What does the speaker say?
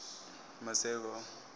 maseko